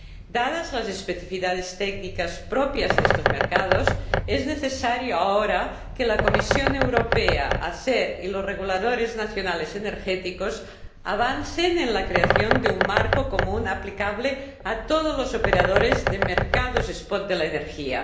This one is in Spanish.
Dadas las especifidades técnicas propias de estos mercados, es necesario ahora que la Comisión Europea, ACER y los reguladores energéticos nacionales avancen en la creación de un marco común aplicable a todos los operadores de mercados spot de la energía.